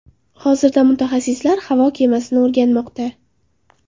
Hozirda mutaxassislar havo kemasini o‘rganmoqda.